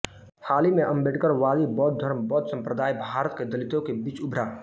हाल ही में अम्बेडकरवादी बौद्ध धर्म बौद्ध संप्रदाय भारत के दलितों के बीच उभरा